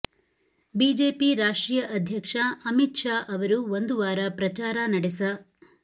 BJP ರಾಷ್ಟ್ರೀಯ ಅಧ್ಯಕ್ಷ ಅಮಿತ್ ಶಾ ಅವರು ಒಂದು ವಾರ ಪ್ರಚಾರ ನಡೆಸ